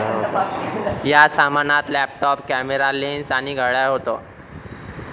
या सामानात laptop, camera, lens आणि घड्याळ होतं.